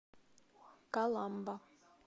каламба